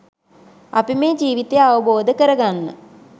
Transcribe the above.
අපි මේ ජීවිතය අවබෝධ කරගන්න